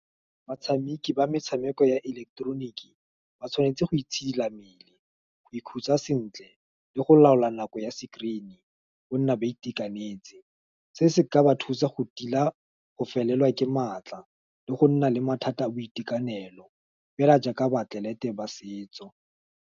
Batshameki ba metshameko ya ileketeroniki, ba tshwanetse go itshidila mmele, go ikhutsa sentle, le go laola nako ya screen-e, go nna ba itekanetse, se se ka ba thusa go tila go felelwa ke maatla, le go nna le mathata a boitekanelo, fela jaaka baatlelete ba setso.